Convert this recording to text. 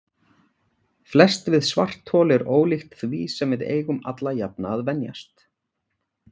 Flest við svarthol er ólíkt því sem við eigum alla jafna að venjast.